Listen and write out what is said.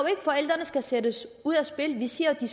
at forældrene skal sendes ud af spillet vi siger at de